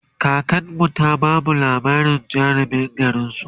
kakanmu ta bamu labarin jarumin garinsu